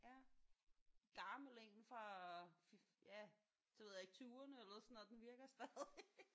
Ja gammel én fra ja det ved jeg ikke tyverne eller sådan noget den virker stadig